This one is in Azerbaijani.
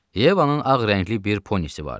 Yevanın ağ rəngli bir ponnisi vardı.